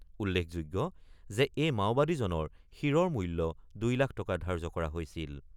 উল্লেখযোগ্য যে এই মাওবাদীজনৰ শিৰৰ মূল্য ২ লাখ টকা ধাৰ্য্য কৰা হৈছিল।